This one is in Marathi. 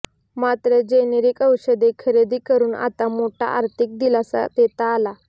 मात्र जेनेरिक औषधे खरेदी करून आता मोठा आर्थिक दिलासा देता आला